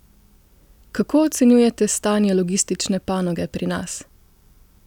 Kako ocenjujete stanje logistične panoge pri nas?